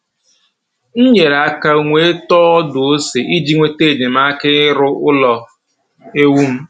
M nyere aka wee tọọ ọdụ ose iji nweta enyemaka ịrụ ụlọ ewu m